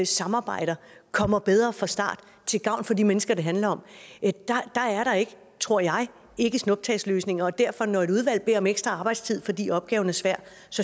samarbejde kommer bedre fra start til gavn for de mennesker det handler om er der ikke tror jeg snuptagsløsninger og derfor når et udvalg beder om ekstra arbejdstid fordi opgaven er svær